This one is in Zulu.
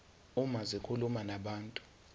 uma zikhuluma nabantu